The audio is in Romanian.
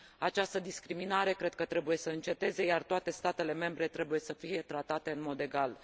Această discriminare cred că trebuie să înceteze, iar toate statele membre trebuie să fie tratate în mod egal.